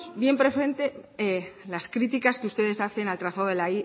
bien presente las críticas que ustedes hacen al trazado de la